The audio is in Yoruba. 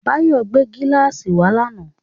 Báyọ̀ gbé gíláàsì wá lánàá.